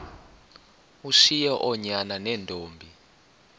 ushiye oonyana neentombi